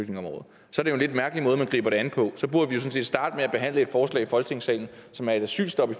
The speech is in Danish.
det jo en lidt mærkelig måde man griber det an på så burde vi set starte med at behandle et forslag i folketingssalen som er et asylstop i